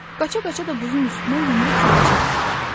Qaça-qaça da buzun üstünə yumru kürəciyi atdı.